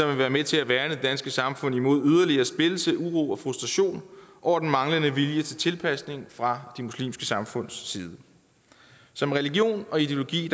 vil være med til at værne det danske samfund imod yderligere splittelse uro og frustration over den manglende vilje til tilpasning fra de muslimske samfunds side som religion og ideologi